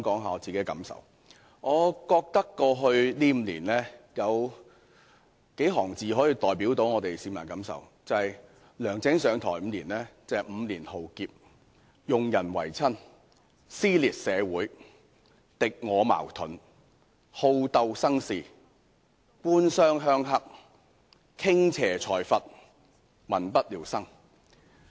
我認為過去5年，就是梁振英上台後的5年，市民的感受可以用數行字來代表，就是 ：5 年浩劫、用人唯親、撕裂社會、敵我矛盾、好鬥生事、官商鄉黑、傾斜財閥、民不聊生。